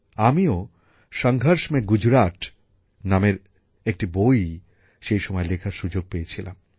আমিও সংঘর্ষ মে গুজরাট নামের একটি বই সেই সময়ে লেখার সুযোগ পেয়েছিলাম